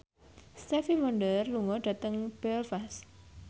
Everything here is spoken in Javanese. Stevie Wonder lunga dhateng Belfast